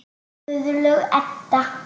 Guðlaug Edda.